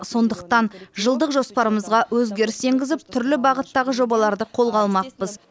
сондықтан жылдық жоспарымызға өзгеріс енгізіп түрлі бағыттағы жобаларды қолға алмақпыз